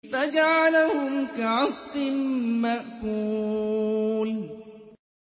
فَجَعَلَهُمْ كَعَصْفٍ مَّأْكُولٍ